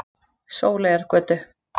Sóleyjargötu